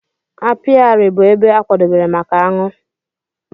apiary bụ ebe a kwadebere maka aṅụ.